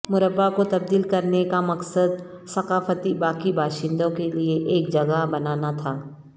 مربع کو تبدیل کرنے کا مقصد ثقافتی باقی باشندوں کے لئے ایک جگہ بنانا تھا